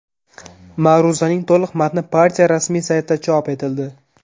Ma’ruzaning to‘liq matni partiya rasmiy saytida chop etildi .